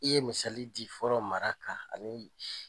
I ye misali di fɔlɔ mara kan ani bi.